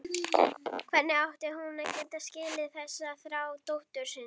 Hvernig átti hún að geta skilið þessa þrá dóttur sinnar?